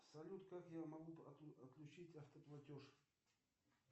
салют как я могу отключить автоплатеж